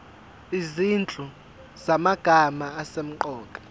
izinhlu zamagama asemqoka